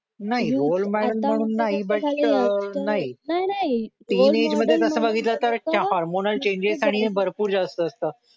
नाही role model म्हणून नाही बट अह नाही थीन एज मध्ये बघितलं तर तसं हार्मोनल चेंजेस आणि भरपूर जास्त असतात